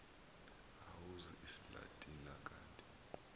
owazi isilatina kanti